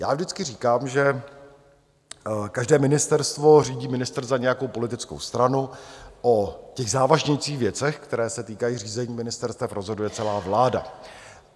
Já vždycky říkám, že každé ministerstvo řídí ministr za nějakou politickou stranu, o těch závažnějších věcech, které se týkají řízení ministerstev, rozhoduje celá vláda.